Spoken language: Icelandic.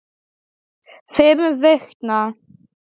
Fimm vikna.